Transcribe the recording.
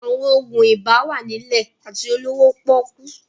Àwọn òògùn ibà wà nílẹ̀ àti olówó pọ́ọ́kú